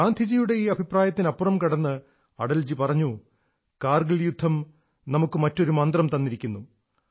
ഗാന്ധിജിയുടെ ഈ അഭിപ്രായത്തിനപ്പുറം കടന്ന് അടൽജി പറഞ്ഞു കാർഗിൽ യുദ്ധം നമുക്ക് മറ്റൊരു മന്ത്രം തന്നിരിക്കുന്നു